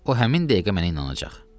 O həmin dəqiqə mənə inanacaq.